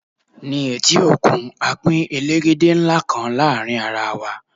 ní eti okun, a Pin elegede nla kan láàrin ara wa